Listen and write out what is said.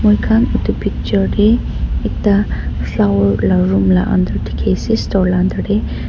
moi khan etu picture tae ekta flower la room la ander dekhi asa store laga ander tae.